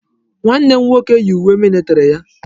Nwanne m nwoke yi uwe militiri ya.